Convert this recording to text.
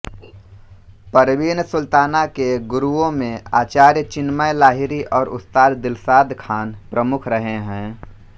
परवीन सुल्ताना के गुरुओं में आचार्य चिन्मय लाहिरी और उस्ताद दिलशाद ख़ान प्रमुख रहे हैं